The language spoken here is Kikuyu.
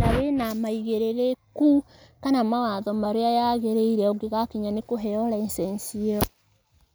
na wĩna maigĩrĩrĩku kana mawatho marĩa yagĩrĩire ũngĩgakinya nĩ kũheo license ĩyo.